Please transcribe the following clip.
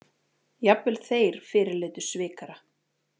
Jafnvel þeir fyrirlitu svikara.